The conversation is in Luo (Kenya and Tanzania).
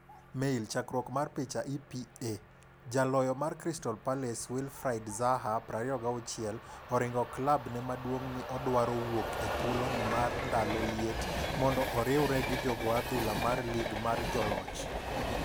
(Mail) Chakruok mar picha, EPA. Jaloyo mar Crystal Palace Wilfried Zaha(26) oringo klab ne maduong'ni odwaro wuok e thuolo ni mar ndalo liet mondo oriwre gi jogo adhula mar lig mar Joloch.